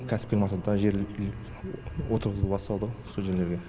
кәсіпкерлік мақсатындағы жер отырғызу басталды сол жерлерге